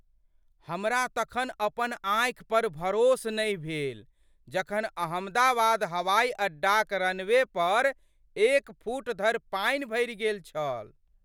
हमरा तखन अपन आँखि पर भरोस नहि भेल जखन अहमदाबाद हवाइ अड्डाक रनवे पर एक फुट धरि पानि भरि गेल छल।